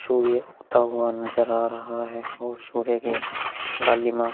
सूर्य उगता हुआ नजर आ रहा है। और सूर्य की लालिमा--